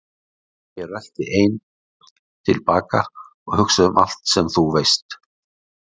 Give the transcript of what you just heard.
Ég rölti einn til baka og hugsa um allt sem þú veist.